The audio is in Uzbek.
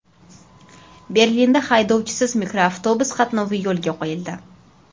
Berlinda haydovchisiz mikroavtobus qatnovi yo‘lga qo‘yildi.